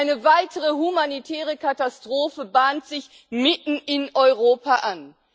Eine weitere humanitäre Katastrophe bahnt sich mitten in Europa an.